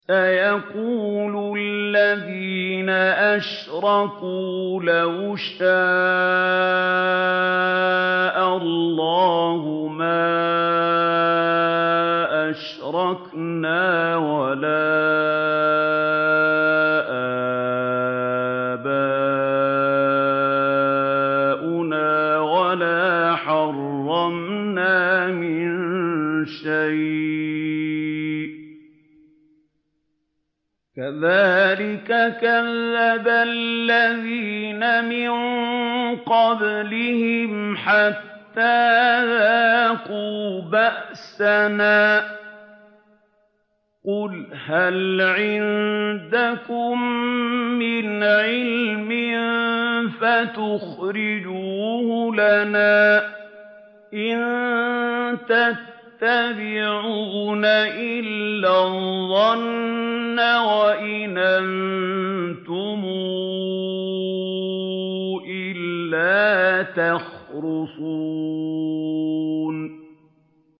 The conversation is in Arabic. سَيَقُولُ الَّذِينَ أَشْرَكُوا لَوْ شَاءَ اللَّهُ مَا أَشْرَكْنَا وَلَا آبَاؤُنَا وَلَا حَرَّمْنَا مِن شَيْءٍ ۚ كَذَٰلِكَ كَذَّبَ الَّذِينَ مِن قَبْلِهِمْ حَتَّىٰ ذَاقُوا بَأْسَنَا ۗ قُلْ هَلْ عِندَكُم مِّنْ عِلْمٍ فَتُخْرِجُوهُ لَنَا ۖ إِن تَتَّبِعُونَ إِلَّا الظَّنَّ وَإِنْ أَنتُمْ إِلَّا تَخْرُصُونَ